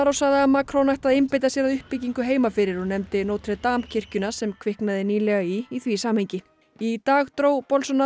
sagði að Macron ætti að einbeita sér að uppbyggingu heima fyrir og nefndi Notre Dame kirkjuna sem kviknaði nýlega í í því samhengi í dag dró